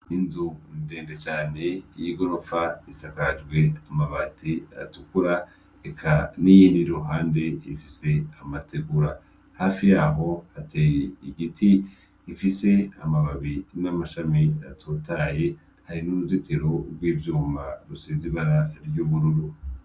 Ni inzu ndende cane y'igorofa isakajwe amabati atukura Eka n'iyindi iri iruhande ifise amategura. Hafi yaho hateye igiti igfise amababi n'amashami atotahaye; hari n'uruzitiro rw'ivyuma rusize ibara ry'ubururu.